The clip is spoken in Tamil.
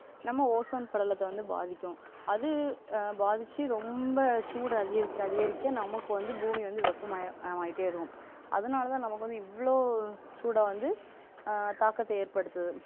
நம்ம ஓசோன் படலத்தை வந்து பாதிக்கும் அது ஆஹ் பாதிச்சு ரொம்ப சூடு அதிகரிக்க அதிகரிக்க நமக்கு வந்து பூமி வந்து வெப்ப மயமாயிக்கிட்டே இருக்கும் அதனாலதான் நமக்கு வந்து இவ்வளோ சூடா வந்து ஆஹ் தாக்கத்தை ஏற்படுத்துது